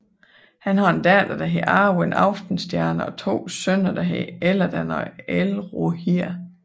Han har en datter der hedder Arwen Aftenstjerne og to sønner der hedder Elladan og Elrohir